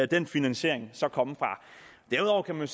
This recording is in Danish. den finansiering så skal komme fra derudover kan man